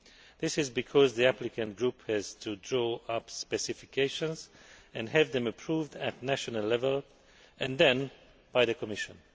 This is because the applicant group has to draw up specifications and have them approved at national level and then by the Commission.